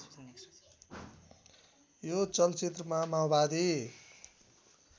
यो चलचित्रमा माओवादी